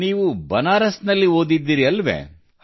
ನೀವು ಬನಾರಸ್ ನಲ್ಲಿ ಓದಿದ್ದೀರಲ್ಲವೇ